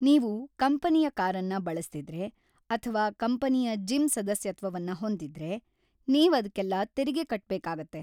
ನೀವು ಕಂಪನಿಯ ಕಾರನ್ನ ಬಳಸ್ತಿದ್ರೆ ಅಥ್ವಾ ಕಂಪನಿಯ ಜಿಮ್ ಸದಸ್ಯತ್ವವನ್ನ ಹೊಂದಿದ್ರೆ, ನೀವ್ ಅದ್ಕೆಲ್ಲ ತೆರಿಗೆ ಕಟ್ಬೇಕಾಗತ್ತೆ.